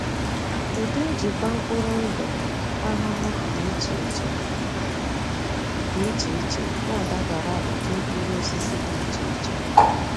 Ụdị njikwa mkpụrụ ndụ ahụhụ dị iche iche dị iche iche na-adabara ụdị mkpụrụ osisi dị iche iche.